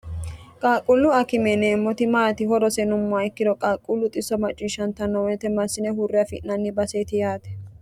qaaqquullu akime yineemmoti maati horose yinummo ikkiro qaaqquullu xisso macciishshanta noo woyite massine huurre afi'nanni baseeti yaate